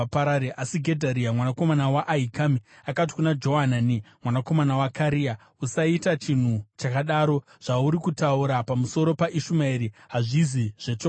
Asi Gedharia mwanakomana waAhikami akati kuna Johanani mwanakomana waKarea, “Usaita chinhu chakadaro! Zvauri kutaura pamusoro paIshumaeri hazvisi zvechokwadi.”